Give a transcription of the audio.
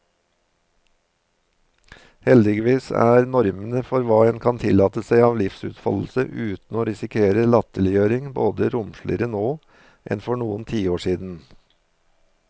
Heldigvis er normene for hva en kan tillate seg av livsutfoldelse uten å risikere latterliggjøring, betydelig romsligere nå enn for noen tiår siden.